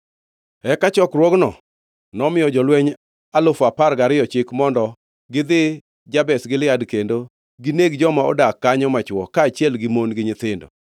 Eka chokruokno nomiyo jolweny alufu apar gariyo chik mondo gidhi Jabesh Gilead kendo gineg joma odak kanyo machwo, kaachiel gi mon gi nyithindo.